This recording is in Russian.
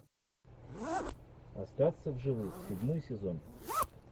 остаться в живых седьмой сезон